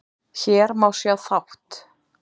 Hér má sjá þátt